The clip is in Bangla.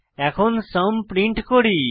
এখন সুম প্রিন্ট করি